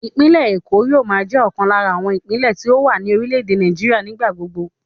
Ìpínlẹ̀ Èkó yóò máa jẹ́ ọ̀kan lára àwọn ìpínlẹ̀ tí ó wà ní orílẹ̀ èdè Nàìjíríà nígbà gbogbo